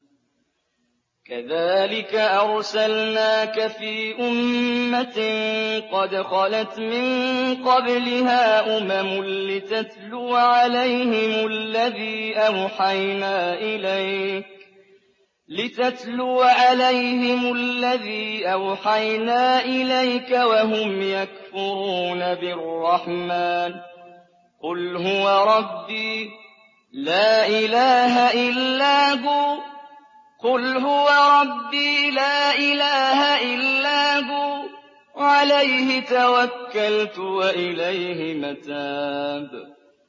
كَذَٰلِكَ أَرْسَلْنَاكَ فِي أُمَّةٍ قَدْ خَلَتْ مِن قَبْلِهَا أُمَمٌ لِّتَتْلُوَ عَلَيْهِمُ الَّذِي أَوْحَيْنَا إِلَيْكَ وَهُمْ يَكْفُرُونَ بِالرَّحْمَٰنِ ۚ قُلْ هُوَ رَبِّي لَا إِلَٰهَ إِلَّا هُوَ عَلَيْهِ تَوَكَّلْتُ وَإِلَيْهِ مَتَابِ